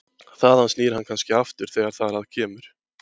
Þaðan snýr hann kannski aftur þegar þar að kemur.